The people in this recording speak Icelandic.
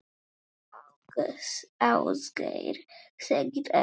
Ásgeir segir ekkert.